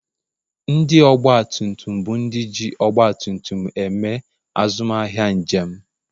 ndị ọgba tum tum bụ ndị ji ọgba tum tum eme azụmahịa njem